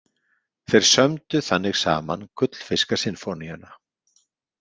Þeir sömdu þannig saman Gullfiskasinfóníuna.